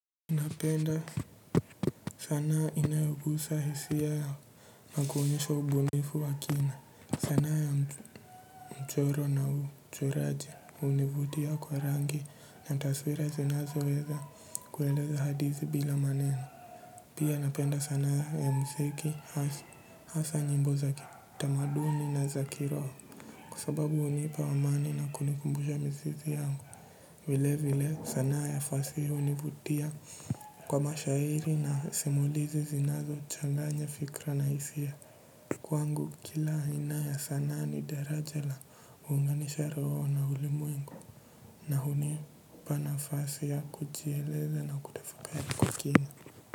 Napenda sanaa inayogusa hisia na kuonyesha ubunifu wa kina. Sanaa ya mchoro na uchoraji hunivutia kwa rangi na taswira zinazo weza kueleza hadithi bila maneno. Pia napenda sanaa ya muziki hasa nyimbo za kitamaduni na za kiroho. Kwa sababu hunipa amani na kunikumbusha mizizi yangu. Vilevile sanaa ya fasihi hunivutia kwa mashairi na simulizi zinazochanganya fikra na hisia. Kwangu kila aina ya sanaa ni daraja la kuunganisha roho na ulimwengu na hunipa nafasi ya kujieleza na kutafakari kwa kina.